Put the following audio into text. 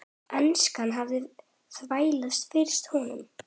Enskan hafði þvælst fyrir honum.